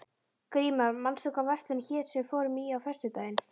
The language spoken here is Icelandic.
Grímar, manstu hvað verslunin hét sem við fórum í á föstudaginn?